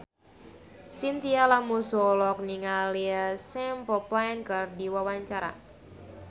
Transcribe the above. Chintya Lamusu olohok ningali Simple Plan keur diwawancara